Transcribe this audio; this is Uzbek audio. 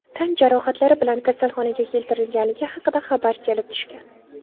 tan jarohatlari bilan kasalxonaga keltirilganligi haqida xabar kelib tushgan.